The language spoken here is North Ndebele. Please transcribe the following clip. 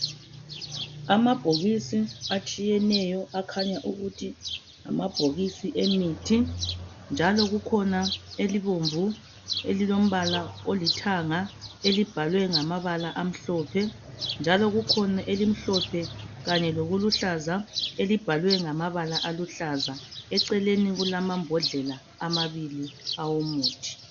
Amabhokisi atshiyeneyo akhanya ukuthi ngamabhokisi emithi, njalo kukhona elibomvu, elilombala olithanga. Elibhalwe ngamabala amhlophe, njalo kukhona elimhlophe kanye lokuhlaza elibhalwe ngamabala aluhlaza. Eceleni kulamabhodlela amabili awokuthi.